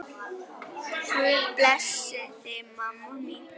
Svo sem engan veginn